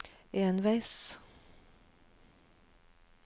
enveis